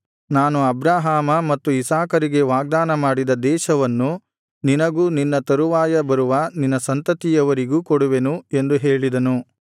ನಾನು ಅಬ್ರಹಾಮ ಮತ್ತು ಇಸಾಕರಿಗೆ ವಾಗ್ದಾನ ಮಾಡಿದ ದೇಶವನ್ನು ನಿನಗೂ ನಿನ್ನ ತರುವಾಯ ಬರುವ ನಿನ್ನ ಸಂತತಿಯವರಿಗೂ ಕೊಡುವೆನು ಎಂದು ಹೇಳಿದನು